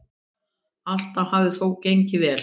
Allt hafi þó gengið vel.